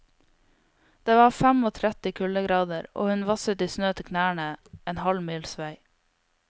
Det var femogtretti kuldegrader, og hun vasset i snø til knærne en halv mils vei.